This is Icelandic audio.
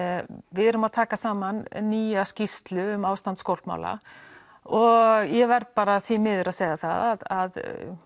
við erum að taka saman nýja skýrslu um ástand og ég verð bara því miður að segja að